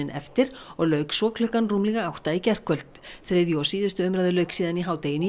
eftir og lauk svo klukkan rúmlega átta í gærkvöld þriðju og síðustu umræðu lauk síðan í hádeginu